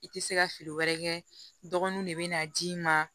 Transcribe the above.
I tɛ se ka feere wɛrɛ kɛ dɔgɔnunw de bɛ na d'i ma